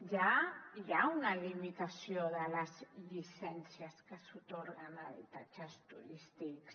ja hi ha una limitació de les llicències que s’atorguen a habitatges turístics